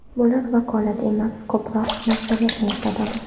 Bular vakolat emas, ko‘proq majburiyatni eslatadi.